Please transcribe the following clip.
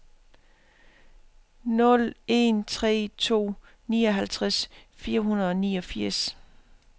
nul en tre to nioghalvtreds fire hundrede og niogfirs